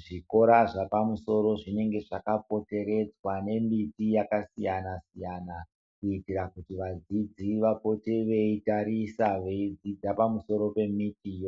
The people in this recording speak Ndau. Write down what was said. zvikora zvepamusoro zvinenge zvakapoteredzwa nemiti yakasiyana siyana kuitira kuti vadzidzi vapote veitarisa vedzidza pamusoro pemiti iyo.